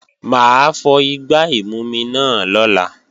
Mà á fọ igbá ìmumi náà lọ́la